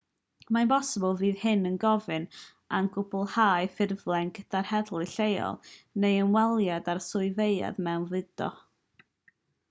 mae'n bosibl fydd hyn yn gofyn am gwblhau ffurflen gyda'r heddlu lleol neu ymweliad â'r swyddfeydd mewnfudo